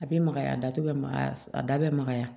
A bɛ makaya a datugu bɛ magaya a da bɛ magaya